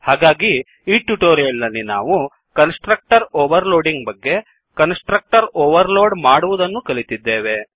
ಹಾಗಾಗಿ ಈ ಟ್ಯುಟೋರಿಯಲ್ ನಲ್ಲಿ ನಾವು ಕನ್ಸ್ ಟ್ರಕ್ಟರ್ ಓವರ್ ಲೋಡಿಂಗ್ ಬಗ್ಗೆ ಕನ್ಸ್ ಟ್ರಕ್ಟರ್ ಓವರ್ ಲೋಡ್ ಮಾಡುವದನ್ನು ಕಲಿತಿದ್ದೇವೆ